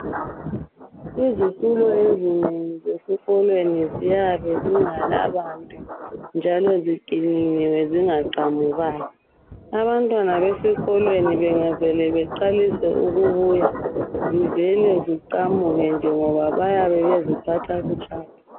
Izitulo ezinengi zesikolweni ziyabe zingelabantu njalo ziqinile zingaqamukanga. Abantwana besikolweni bangavela baqalise ukubuya zivele nje ziqamuke ngoba bayabe beziphatha butshapha.